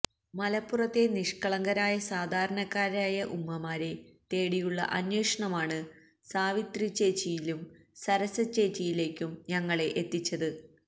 മലപ്പുറത്തെ നിഷ്കളങ്കരായ സാധാരണക്കാരായ ഉമ്മമാരെ തേടിയുള്ള അന്വേഷണമാണ് സാവിത്രിച്ചേച്ചിയിലും സരസച്ചേച്ചിയിലേക്കും ഞങ്ങളെ എത്തിച്ചത്